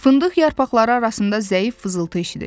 Fındıq yarpaqları arasında zəif fızıltı eşidildi.